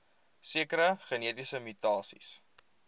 sekere genetiese mutasies